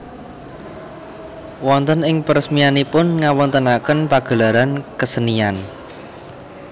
Wonten ing peresmianipun ngawontenaken pagelaran kesenian